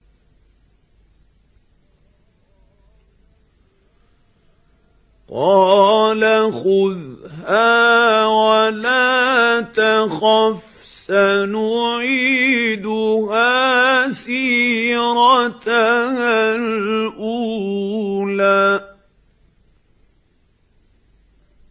قَالَ خُذْهَا وَلَا تَخَفْ ۖ سَنُعِيدُهَا سِيرَتَهَا الْأُولَىٰ